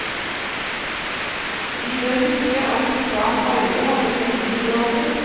Vi bør huske at islam aldri hadde noen middelalder.